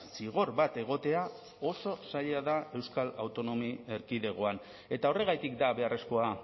zigor bat egotea oso zaila da euskal autonomi erkidegoan eta horregatik da beharrezkoa